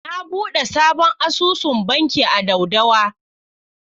Na buɗe sabon asusun banki a Daudawa.